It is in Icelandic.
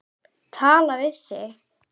Tala við þig?